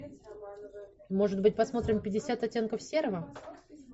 может быть посмотрим пятьдесят оттенков серого